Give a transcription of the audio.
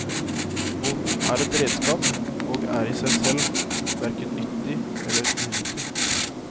Båten er et redskap og er i seg selv hverken nyttig eller unyttig.